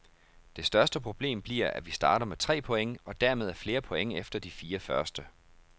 Det største problem bliver, at vi starter med tre point og dermed er flere point efter de fire første.